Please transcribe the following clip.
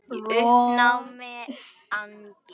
Í uppnámi og angist.